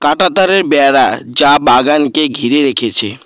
কাঁটাতারের বেড়া যা বাগানকে ঘিরে রেখেছে।